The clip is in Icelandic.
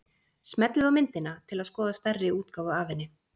Smellið á myndina til að skoða stærri útgáfu af henni.